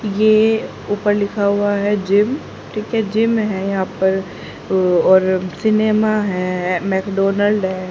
ये उपर लिखा हुआ है जिम ठीक है जिम है यहां पर उ और सिनेमा है मक्डोनल्ड है।